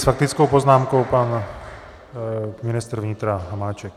S faktickou poznámkou pan ministr vnitra Hamáček.